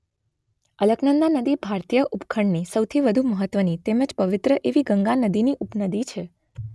અલકનંદા નદી ભારતીય ઉપખંડની સૌથી વધુ મહત્વની તેમ જ પવિત્ર એવી ગંગા નદીની ઉપનદી છે.